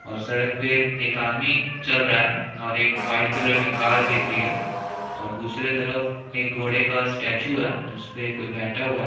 और सड़क पे एक आदमी चल रहा है और एक वाइट_कलर की कार दिख रही है और दूसरे तरफ एक घोड़े का स्टेचू है जिसपे कोई बैठा हुआ है।